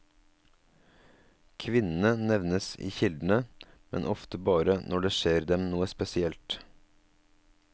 Kvinnene nevnes i kildene, men ofte bare når det skjer dem noe spesielt.